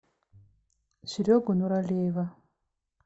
серегу нуралиева